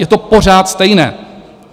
Je to pořád stejné.